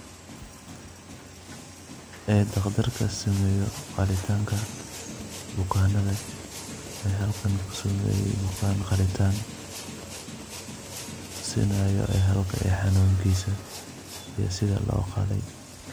Ee taqdarka sameeyoh, qaalitanga bukanatha ee halkan kusameeyoh Wana qhalitaan tuusinayo ee halkan xanunkisa iyo setha loqaalaya .